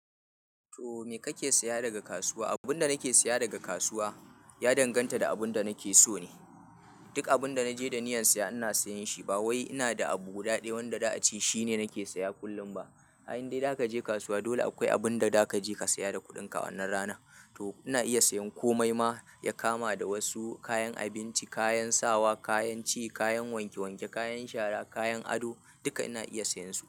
To me kake saya daga kasuwa? Abun da nake saya daga kasuwa, ya danganta da abun da nake so ne. Duk abun da naje da niyyar saya ina sayin shi. Ba wai ina da abu guda ɗaya wanda da ace shine nake saya kullum ba. Ai in dai da kaje kasuwa dole akwai abun da da kaje ka siya da kuɗin ka a wannan ranan. To ina iya sayan komai ma, ya kama da wasu kayan abinci, kayan sawa, kayan ci, kayan wanke wanke, kayan shara, kayan ado, duka ina iya sayan su.